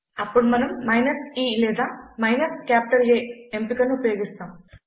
అప్పుడు మనం minus e లేదా మైనస్ కాపిటల్ A ఎంపిక ను ఉపయోగిస్తాం